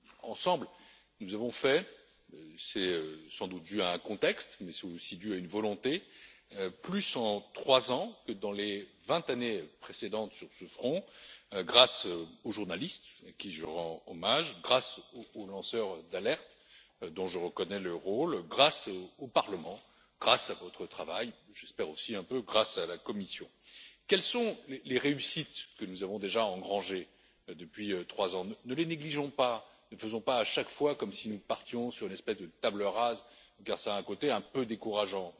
Ensemble, nous avons fait c'est sans doute dû à un contexte, mais c'est aussi dû à une volonté plus en trois ans que dans les vingt années précédentes sur ce front, grâce aux journalistes à qui je rends hommage grâce aux lanceurs d'alerte dont je reconnais le rôle grâce au Parlement, grâce à votre travail, et j'espère aussi un peu grâce à la Commission. Quelles sont les réussites que nous avons déjà engrangées depuis trois ans? Ne les négligeons pas, ne faisons pas, à chaque fois, comme si nous partions d'une espèce de table rase, car cela a un côté un peu décourageant.